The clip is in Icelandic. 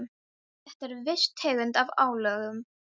Þetta er viss tegund af álögum.